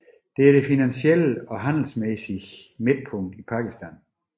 Det er det finansielle og handelsmæssige midtpunkt i Pakistan